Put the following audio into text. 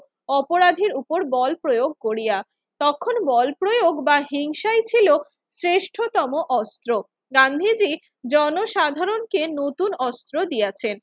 অপরাধীর উপর বল প্রয়োগ করিয়া। তখন বল প্রয়োগ বা হিংসাই ছিল শ্রেষ্ঠতম অস্ত্র। গান্ধীজি জনসাধারণকে নতুন অস্ত্র দিয়াছেন।